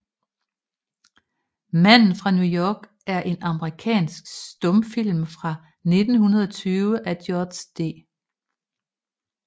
Manden fra New York er en amerikansk stumfilm fra 1920 af George D